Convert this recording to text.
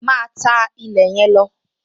Máa tá ilẹ̀ yẹn lọ!